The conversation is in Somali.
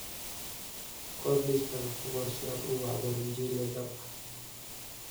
qor liiskayga ku qor si aad u wacdo rinjiile dhab ah